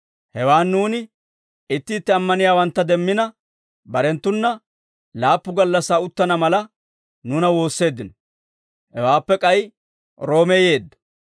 Hewaan nuuni itti itti ammaniyaawantta demmina, barenttuna laappu gallassaa uttana mala, nuuna woosseeddino; hewaappe k'ay Roome yeeddo.